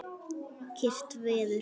Kyrrt veður.